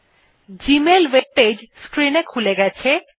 এখন Gmail web page screen এ খুলে গেছে